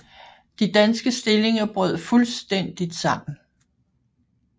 De danske stillinger brød fuldstændigt sammen